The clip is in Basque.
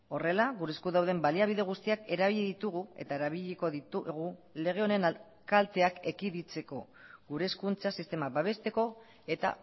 horrela gure esku dauden baliabide guztiak erabili ditugu eta erabiliko ditugu lege honen kalteak ekiditeko gure hezkuntza sistema babesteko eta